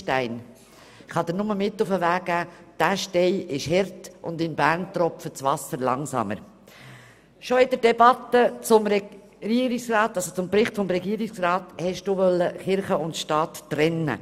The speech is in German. Schon während der Debatte zum Bericht des Regierungsrats wollten Sie Kirche und Staat trennen.